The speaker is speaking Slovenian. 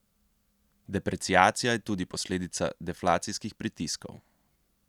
Depreciacija je tudi posledica deflacijskih pritiskov.